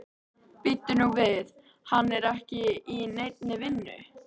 Bíddu nú við, hann er ekki í neinni vinnu?